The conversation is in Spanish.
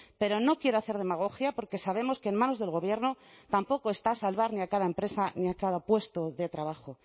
pero no quiero hacer demagogia porque sabemos que en manos del gobierno tampoco está salvar ni a cada empresa ni a cada puesto de trabajo